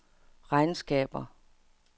regnskaber